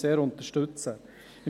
Auch dies unterstützen wir sehr.